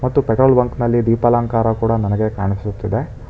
ಮತ್ತು petrol bunk ನಲ್ಲಿ ದೀಪಾಲಂಕಾರ ಕೂಡ ನನಗೆ ಕಾಣಿಸುತ್ತಿದೆ.